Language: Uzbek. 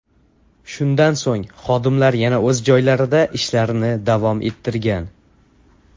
Shundan so‘ng xodimlar yana o‘z joylarida ishlarini davom ettirgan.